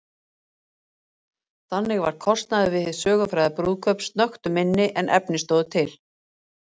Þannig varð kostnaður við hið sögufræga brúðkaup snöggtum minni en efni stóðu til.